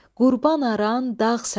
Qurban aran, dağ sənə.